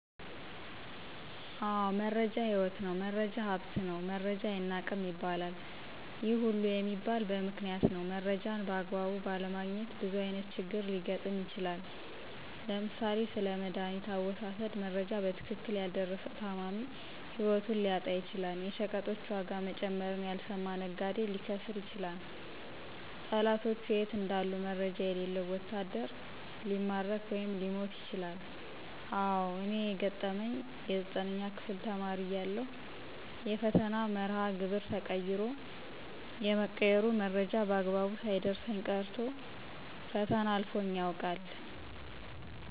አዎ! መረጃ ህይወት ነው፣ መረጃ ሀብት ነው መረጃ አይናቅም ይባለል። ይህ ሁሉ የሚባለ በምክንያት ነው። መረጃን በአግባቡ ባለማግኘት ብዙ አይነት ችግር ሊገጥም ይችላል። ለምሳሌ፦ ስለመዳኒት አወሳሠድ መረጃ በትክክል ያልደረሠው ታማሚ ህይወቱን ሊያጣ ይችላል። የሸቀጦች ዋጋ መጨመርን ያልሰማ ነጋዴ ሊከስር ይችላል። ጠላቶቹ የት እንዳሉ መረጃ የሌለው ወታደር ሊማረክ ወይም ሊሞት ይችላል። አዎ! እኔን የገጠመኝ የ9ኛ ክፍል ተማሪ እያለሁ የፈተና መርሃ ግብር ተቀይሮ የመቀየሩ መረጃ በአግባቡ ሳይደርሠኝ ቀርቶ ፈተና አልፎኝ ያውቃል።